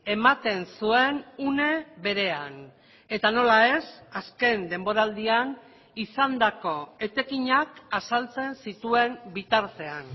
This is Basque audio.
ematen zuen une berean eta nola ez azken denboraldian izandako etekinak azaltzen zituen bitartean